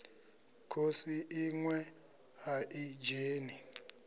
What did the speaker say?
khosi iṋwe a i dzheni